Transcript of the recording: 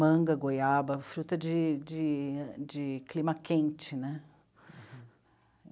Manga, goiaba, fruta de, de, de clima quente né.